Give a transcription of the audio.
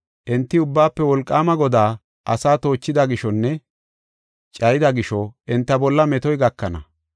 Enti Ubbaafe Wolqaama Godaa asaa toochida gishonne cayida gisho, enta bolla metoy gakana.